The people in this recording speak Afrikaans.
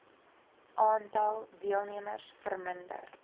aantal deelnemers verminder